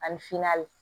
Ani finna